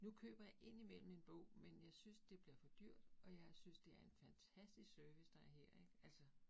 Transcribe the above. Nu køber jeg indimellem en bog, men jeg synes, det bliver for dyrt, og jeg synes det er en fantastisk service, der er her ik altså